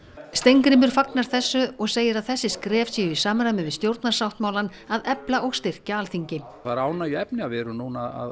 Steingrímur fagnar þessu og segir að þessi skref séu í samræmi við stjórnarsáttmálann að efla og styrkja Alþingi það er ánægjuefni að við erum núna